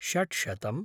षड्शतम्